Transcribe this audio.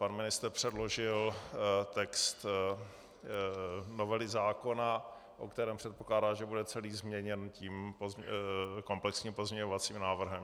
Pan ministr předložil text novely zákona, o kterém předpokládá, že bude celý změněn tím komplexním pozměňovacím návrhem.